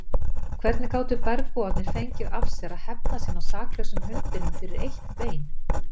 Hvernig gátu bergbúarnir fengið af sér að hefna sín á saklausum hundinum fyrir eitt bein!